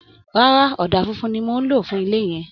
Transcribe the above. Rárá, ọ̀dà fúnfun ni mò ń lò fún ilé yín